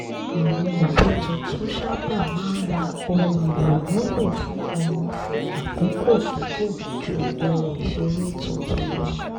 àwọn òbí tuntun sábà máa ń ra ohun èlò wúlò fún ọmọ fún àkókò gígùn ju ohun ìṣeré tuntun lọ